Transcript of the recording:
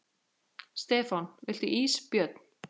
Stefán: Viltu ís Björn?